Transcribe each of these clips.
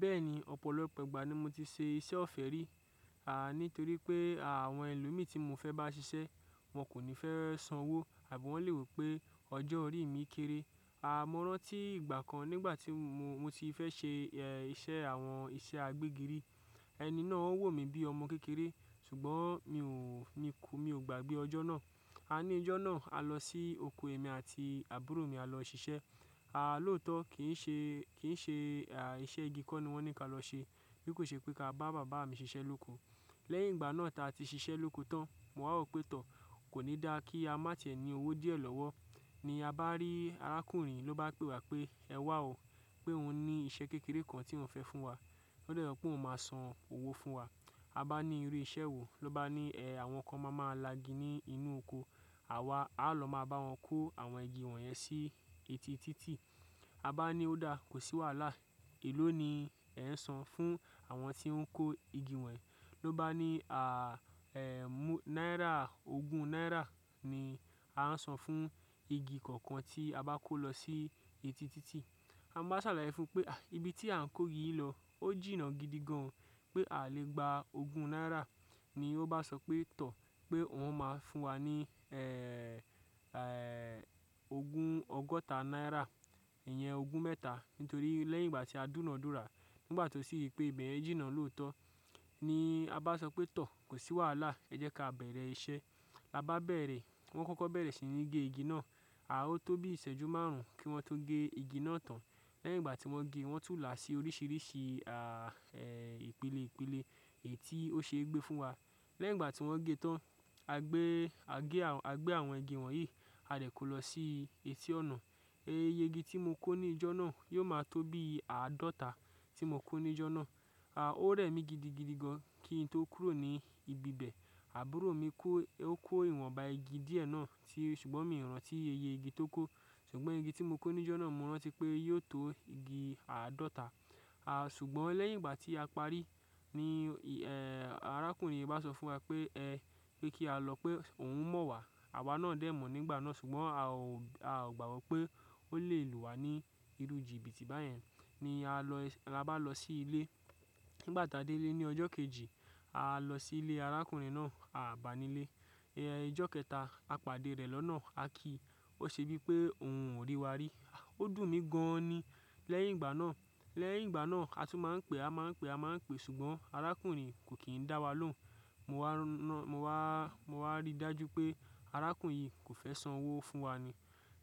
Bẹ́ẹ̀ni, ọ̀pọ̀lọpọ̀ ìgbà ni mo ti ṣe iṣẹ́ ọ̀fẹ́ rí. À nítorí pé àwọn ẹlòmií tí mo fẹ́ bá ṣiṣẹ́ wọn kò ní fẹ́ san owó àbi wọn lè rò pé ọjọ́ orí mi kéré. A mọ rán tí ìgbà kan nígbà tí mo ti fẹ́ ṣe iṣẹ́ àwọn iṣẹ́ agbégiri, ẹni náà wò mí bí ọmọ kékeré ṣùgbọ́n mi ò, mi kò, mi ò gbàgbé ọjọ́ náà. A ní ọjọ́ náà, a lọ sí oko èmi àti àbúrò mi a lọ ṣiṣẹ́. A lóòtọ́ kì í ṣe, kì í ṣe iṣẹ́ igi kọ́ ni wọ́n ní ka lọ ṣe bí kò ṣe pé ka bá bàbá mi ṣiṣẹ́ lóko. Lẹ́yìn ìgbà náà tá a ti ṣiṣẹ́ lóko tán, mo wá rò pé tọ̀ kò ní dá kí a má tiẹ́ ni owó díẹ̀ lọ́wọ́. Ni a bá rí arákùnrin ló bá pe wa pé ẹwà o pé òun ní iṣẹ́ kékeré kan tí òun fẹ́ fún wa. Ó de so pé òun máa san owó fún wa. A bá ní irú iṣẹ́ wo, ló bá ní ẹ̀ àwọn kan máa ma lagi ní inú oko. Àwa á lọ máa bá wọn kó àwọn igi wọ̀nyẹn sí etí títì. A bá ní ó dáa, kò sí wàhálà. Èló ni ẹ̀ san fún àwọn tí ń kó igi wọ̀nyii. Ló bá ní à ẹ́ mú náírà ogún náírà ni a ń san fún igi kọ̀ọ̀kan tí a bá kó lọ sí etí títì. A mowa sàlàyé fún un pé ibi tí à ń kó igi yìí lọ ó jìnnà gidi gan-an o pé a lè gba ogún náírà. Ni ó bá sọ pé tọ̀ pé òun máa fún wa ní ogun ọgọ́ta náírà. Ìyẹn ogún mẹ́ta nítorí lẹ́yìn ìgbà tí a dúnàádúrà nígbà tó sì ri pé ibẹ̀yen jìnnà lóòtọ́ ni a bá sọ pé tọ̀ kò sí wàhálà ẹ jẹ́ ka bẹ̀rẹ̀ iṣẹ́. La bá bẹ̀rẹ̀ wọ́n kọ́kọ́ bẹ̀rẹ̀ sí ní gé igi náà. A ó tó bí ìṣẹ́jú márùn ún kí wọ́n tó gé igi náà tán. Lẹ́yìn ìgbà tí wọ́n gé, wọ́n tún là á sí oríṣìríṣì ìpélé ìpélé è tí ó ṣe gbé fún wa. Lẹ́yìn ìgbà tí wọ́n gé tán, a gbé, a gé, a gbé àwọn igi wọ̀nyí, a dẹ̀ kó lọ sí etí ọ̀nà. Iye igi tí mo kó ní ìjọ́ náà yóò máa tó bí àádọ́ta tí mo kó ní ìjọ́ náà. A ó rẹ̀ mí gidigidi gan kí n tó kúrò ní ibi ibẹ̀. Àbúrò mi kó, ó kó ìwọ̀nba igi díẹ̀ náà tí ṣùgbọ́n mi ò rántí iye igi tó kó. Ṣùgbọ́n igi tí mo kó ní ìjọ́ náà mo rántí pé yóò tó igi àádọ́ta. A ṣùgbọ́n lẹ́yìn ìgbà tí a parí ní arákùnrin yìí bá sọ fún wa pé ẹ kí á lọ pé òun mọ̀ wa. Àwa náà dẹ̀ mọ̀ nígbà náà ṣùgbọ́n a ò, a ò gbàgbọ́ pé ó lè lù wá ní irú jìbìtì báyẹn. Ni a lọ, la bá lọ sí ilé. Nígbà táa dé ílé ní ọjọ́ kejì, a lọ sí ilé arákùnrin náà, a bàá nílé. Ẹ̀ ijọ́ kẹta, a pàdé rẹ̀ lọ́nà, a kí i. Ó ṣe bí pé òun ò rí wa rí. Ó dùn mí gan an ni. Lẹ́yìn ìgbà náà, lẹ́yìn ìgbà náà a tún máa ń pe, a máa ń pe, a máa ń pe ṣùgbọ́n arákùnrin i kò kì n dá wa lóhùn. Mo wá rí dájú pé arákùnrin yìí kò fẹ́ san owó fún wa ni.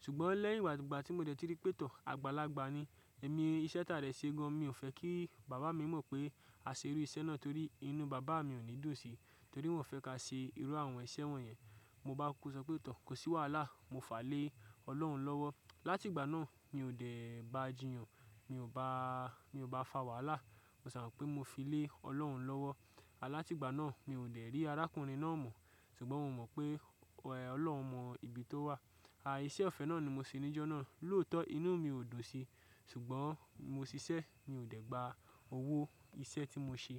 Ṣùgbọ́n lẹ́yìn ìgbà ìgbà tí mo dẹ̀ ti rí pé tọ̀, àgbàlagbà ni. Ẹ̀mí iṣẹ́ ta dẹ̀ ṣe gan an. Mi ò fẹ́ kí bàbá mi mọ̀ pé a ṣe irú iṣẹ́ náà torí inú bàbá mi ò ní dùn sí i. Torí wọn fẹ́ ka ṣe irú àwọn iṣẹ́ wọ̀nyẹn. Mo bá kuku sọ pé tọ̀ kò sí wàhálà, mo fa lé Ọlọ́run lọ́wọ́. Látìgbà náà mi ò dẹ̀ ba jinyàn, mi ò bá, mi ò bá fa wàhálà. Mo sà mo pé mo fi lé Ọlọ́run lọ́wọ́. A látìgbà náà mi ò dẹ̀ rí arákùnrin náà mọ̀. Ṣùgbọ́n mo mọ̀ pé Ọlọ́run mọ ibi tó wà. A iṣẹ́ ọ̀fẹ́ náà ni mo ṣe ní ìjọ́ náà. Lóòtọ́ inú mi ò dùn sí i ṣùgbọ́n mo ṣiṣẹ́, mi ò dẹ̀ gba owó iṣẹ́ tí mo ṣe.